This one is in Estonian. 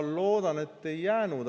Ma loodan, et ei jäänud.